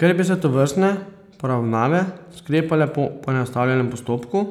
Ker bi se tovrstne poravnave sklepale po poenostavljenem postopku,